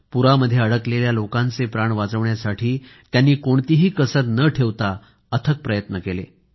पुरामध्ये अडकलेल्या लोकांचे प्राण वाचवण्यासाठी त्यांनी कोणतीही कसर न ठेवता अथक प्रयत्न केले